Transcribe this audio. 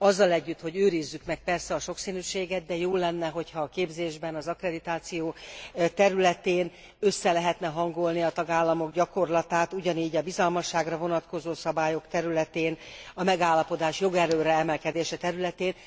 Azzal együtt, hogy őrizzük meg persze a sokszínűséget, de jó lenne, ha a képzésben az akkreditáció területén össze lehetne hangolni a tagállamok gyakorlatát, ugyanígy a bizalmasságra vonatkozó szabályok területén, a megállapodás jogerőre emelkedése területén.